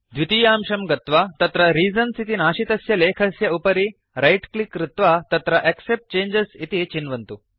द्वितीयांशं गत्वा तत्र रीजन्स् इति नाशितस्य लेखस्य उपरि रैटक्लिक् कृत्वा तत्र एक्सेप्ट् चेंजेस् इति चिन्वन्तु